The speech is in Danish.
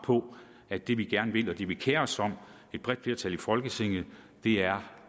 at det vi gerne vil og det vi kerer os om et bredt flertal i folketinget er